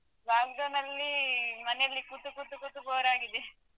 Lockdown ನಲ್ಲಿ ಮನೆಯಲ್ಲಿ ಕೂತು ಕೂತು ಕೂತು bore ಗಿದೆ.